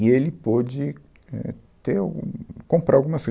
E ele pôde, éh, ter algum, comprar algumas coisa.